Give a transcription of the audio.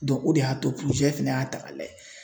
o de y'a to fɛnɛ y'a ta k'a lajɛ